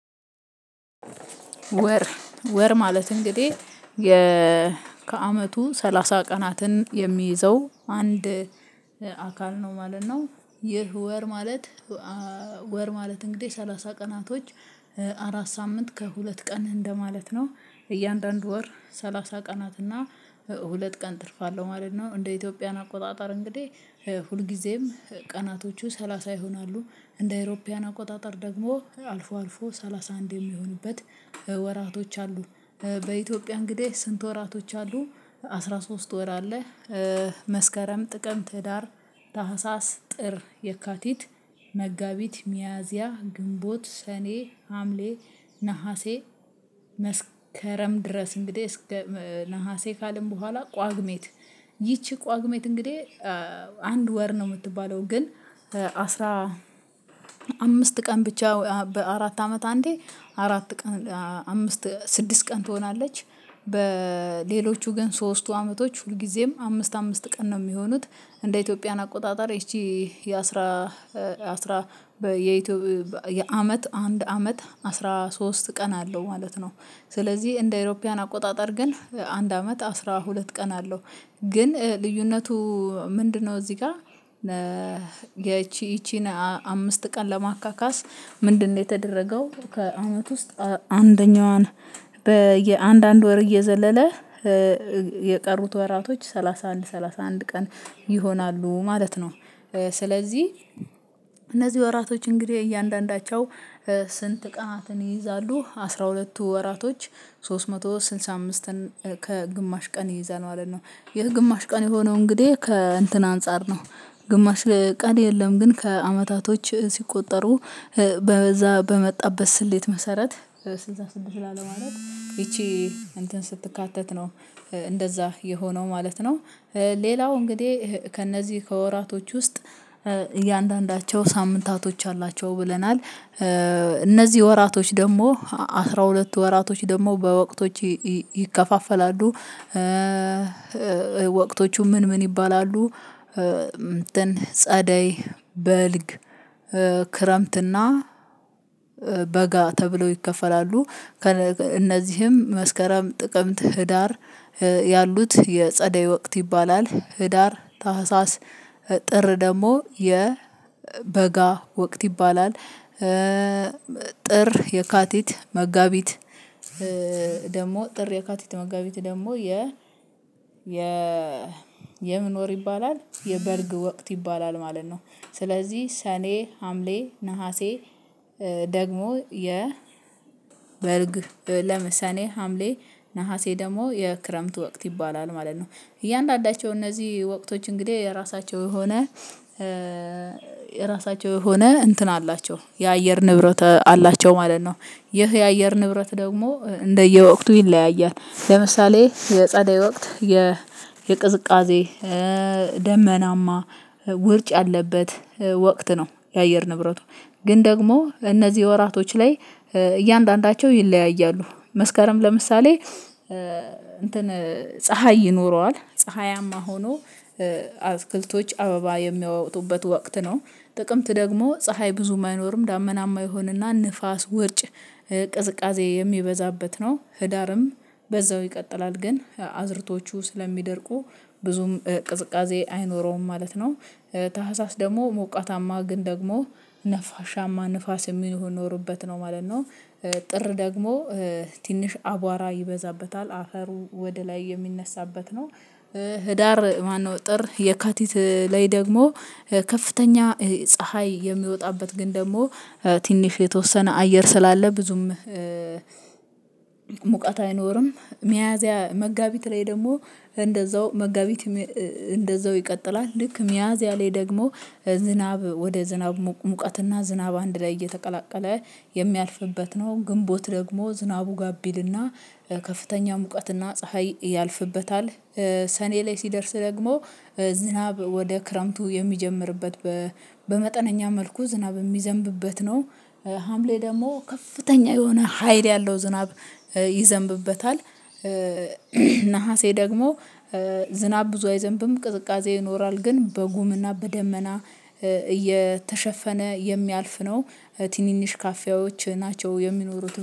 ወር ወር ማለት እንግዲህ ከአመቱ 30 ቀናትን የሚይዘው አንድ አካል ነው ማለት ነው። ይህ ወር ማለት። ወር ማለት እንግዲህ ሰላሳ ቀናቶች። አራት ሳምንት ከሁለት ቀን እንደማለት ነው እያንዳንዱ ወር ሰላሳ ቀናት እና ሁለት ቀን ትርፍ አለው ማለት ነው። እንደ ኢትዮጵያን አቆጣጠር እንግዲህ ሁልጊዜም ቀናቶቹ ሰላሳ ይሆናሉ እንደ ኢሮፓውያን አቆጣጠር ደግሞ አልፎ አልፎ ሰላሳአንድ የሚሆንበት ወራቶች አሉ። በኢትዮጵያ እንግዲህ ስንት ወራቶች አሉ? አስራ ሶስት ወር አለ። መስከረም ጥቅም ህዳር ታህሳስ ጥር የካቲት መጋቢት ሚያዚያ ግንቦት ሰኔ ሀምሌ ነሀሴ መስከረም ድረስ እንግዲህ እስከ ነሀሴ ካልን በኋላ ቋግሜት። ይቺ ቋግሜት እንግዲህ አንድ ወር ነው የምትባለው። ግን አስራ አምስት ቀን ብቻ በአራት አመት አንዴ አራት ቀን አምስት ስድስት ቀን ትሆናለች። በሌሎቹ ግን ሶስቱ አመቶች ሁልጊዜም አምስት አምስት ቀን ነው የሚሆኑት። እንደ ኢትዮጵያን አቆጣጠር እቺ የአስራ አስራ የኢትዮጵያ አንድ አመት አስራ ሶስት ቀን አለው ማለት ነው። ስለዚህ እንደ አውሮፓውያን አቆጣጠር ግን አንድ አመት አስራ ሁለት ቀን አለው። ግን ልዩነቱ ምንድነው? እዚህ ጋር ይቺን አምስት ቀን ለማካካስ ምንድነው የተደረገው? ከአመት ውስጥ አንደኛዋን በአንድ አንድ ወር እየዘለለ የቀሩት ወራቶች 31 31 ቀን ይሆናሉ ማለት ነው። ስለዚህ እነዚህ ወራቶች እንግዲህ እያንዳንዳቸው ስንት ቀናትን ይይዛሉ? አስራ ሁለቱ ወራቶች ሶስት መቶ ስልሳ አምስትን ከግማሽ ቀን ይይዛል ማለት ነው። ይህ ግማሽ ቀን የሆነው እንግዲህ ከእንትን አንፃር ነው። ግማሽ ቀን የለም ግን ከአመታቶች ሲቆጠሩ በዛ በመጣበት ስሌት መሰረት ስልሳ ስድስት ላለ ማለት ይቺ እንትን ስትካተት ነው። እንደዛ የሆነው ማለት ነው። ሌላው እንግዲህ ከእነዚህ ከወራቶች ውስጥ እያንዳንዳቸው ሳምንታቶች አላቸው ብለናል። እነዚህ ወራቶች ደግሞ አስራ ሁለት ወራቶች ደግሞ በወቅቶች ይከፋፈላሉ። ወቅቶቹ ምን ምን ይባላሉ? እንትን ጸደይ በልግ ክረምትና በጋ ተብለው ይከፈላሉ። እነዚህም መስከረም ጥቅምት ህዳር ያሉት የጸደይ ወቅት ይባላል። ህዳር ታህሳስ ጥር ደግሞ የ የበጋ ወቅት ይባላል። ጥር የካቲት መጋቢት ደግሞ ጥር የካቲት መጋቢት ደግሞ የ የ የምን ወር ይባላል የበልግ ወቅት ይባላል ማለት ነው። ስለዚህ ሰኔ ሀምሌ ነሀሴ ደግሞ የ ሰኔ ሀምሌ ነሀሴ ደግሞ የክረምት ወቅት ይባላል ማለት ነው። እያንዳንዳቸው እነዚህ ወቅቶች እንግዲህ የራሳቸው የሆነ የራሳቸው የሆነ እንትን አላቸው የአየር ንብረት አላቸው ማለት ነው። ይህ የአየር ንብረት ደግሞ እንደየወቅቱ ይለያያል ለምሳሌ የጸደይ ወቅት የቅዝቃዜ ደመናማ ውርጭ አለበት። ወቅት ነው የአየር ንብረቱ ግን ደግሞ እነዚህ ወራቶች ላይ እያንዳንዳቸው ይለያያሉ መስከረም ለምሳሌ እንትን ፀሀይ ይኖረዋል ፀሀያማ ሆኖ አትክልቶች አበባ የሚያወጡበት ወቅት ነው። ጥቅምት ደግሞ ፀሀይ ብዙም አይኖርም ዳመናማ ይሆንና ንፋስ ውርጭ ቅዝቃዜ የሚበዛበት ነው ህዳርም በዛው ይቀጥላል ግን አዝርቶቹ ስለሚደርቁ ብዙም ቅዝቃዜ አይኖረውም ማለት ነው። ታህሳስ ደግሞ ሞቃታማ ግን ደግሞ ነፋሻማ ንፋስ የሚኖርበት ነው ማለት ነው። ጥር ደግሞ ትንሽ አቧራ ይበዛበታል አፈሩ ወደ ላይ የሚነሳበት ነው። ህዳር ማነው ጥር የካቲት ላይ ደግሞ ከፍተኛ ፀሀይ የሚወጣበት ግን ደግሞ ትንሽ የተወሰነ አየር ስላለ ብዙም ሙቀት አይኖርም። ሚያዝያ መጋቢት ላይ ደግሞ እንደዛው መጋቢት እንደዛው ይቀጥላል ልክ ሚያዝያ ላይ ደግሞ ዝናብ ወደ ዝናብ ሙቀትና ዝናብ አንድ ላይ እየተቀላቀለ የሚያልፍበት ነው። ግንቦት ደግሞ ዝናቡ ጋብ ይልና ከፍተኛ ሙቀትና ፀሀይ ያልፍበታል። ሰኔ ላይ ሲደርስ ደግሞ ዝናብ ወደ ክረምቱ የሚጀምርበት በመጠነኛ መልኩ ዝናብ የሚዘንብበት ነው። ሀምሌ ደግሞ ከፍተኛ የሆነ ሀይል ያለው ዝናብ ይዘንብበታል። ነሀሴ ደግሞ ዝናብ ብዙ አይዘንብም ቅዝቃዜ ይኖራል ግን በጉም እና በደመና እየተሸፈነ የሚያልፍ ነው። ትንንሽ ካፊያዎች ናቸው የሚኖሩት